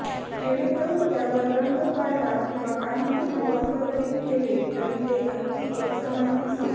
जेणेकरून त्यावर रंग काढला किंवा काहीही वॉल कव्हरिंग केले तरी ते अगदी एकसमान दिसेल